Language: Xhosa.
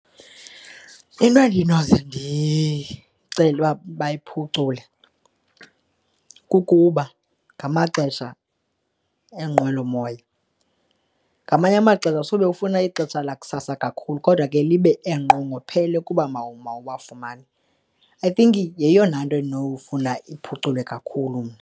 Into endinoze ndicele uba bayiphucule kukuba ngamaxesha eenqwelomoya, ngamanye amaxesha sube ufuna ixesha lakusasa kakhulu kodwa ke libe enqongophele kuba mawuwafumane. I think yeyona nto endinofuna iphuculwe kakhulu mna.